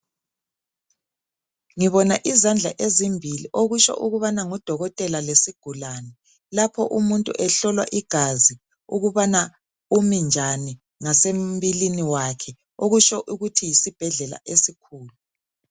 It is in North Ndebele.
Ngibona izandla ezimbili okutsho ukubana ngudokotela lesigulani, lapho umuntu ehlolwa igazi ukubana umi njani ngasembilini wakhe okutsho ukuthi yisibhedlela esikhulu.